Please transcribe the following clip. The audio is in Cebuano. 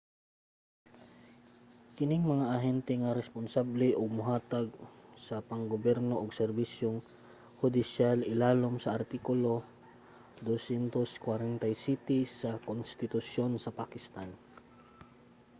kining mga ahente ang responsable nga mohatag sa pang-gobyerno ug serbisyong hudisyal ilalom sa artikulo 247 sa konstitusyon sa pakistan